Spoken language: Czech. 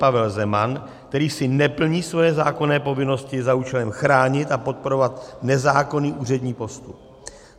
Pavel Zeman, který si neplní svoje zákonné povinnosti za účelem chránit a podporovat nezákonný úřední postup.